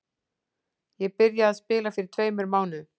Ég byrjaði að spila fyrir tveimur mánuðum.